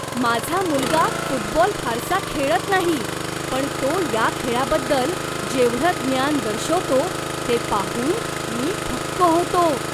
माझा मुलगा फुटबॉल फारसा खेळत नाही पण तो या खेळाबद्दल जेवढं ज्ञान दर्शवतो ते पाहून मी थक्क होतो.